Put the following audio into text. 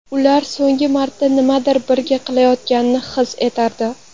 Ular so‘nggi marta nimanidir birga qilayotganini his etardi.